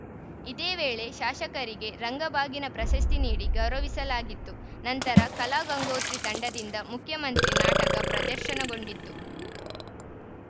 ಇದೇ ವೇಳೆ ಶಾಸಕರಿಗೆ ರಂಗಬಾಗಿನ ಪ್ರಶಸ್ತಿ ನೀಡಿ ಗೌರವಿಸಲಾಗಿತ್ತು ನಂತರ ಕಲಾಗಂಗೋತ್ರಿ ತಂಡದಿಂದ ಮುಖ್ಯಮಂತ್ರಿ ನಾಟಕ ಪ್ರದರ್ಶನಗೊಂಡಿತು